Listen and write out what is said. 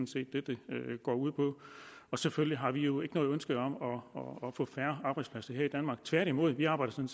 set det det går ud på og selvfølgelig har vi jo ikke noget ønske om at få færre arbejdspladser her i danmark tværtimod vi arbejder